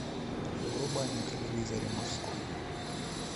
врубай на телевизоре морской